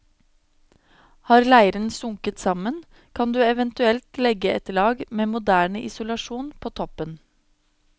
Har leiren sunket sammen, kan du eventuelt legge et lag med moderne isolasjon på toppen.